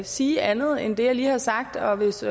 sige andet end det jeg lige har sagt og hvis